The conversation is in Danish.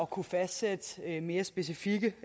kunne fastsætte mere specifikke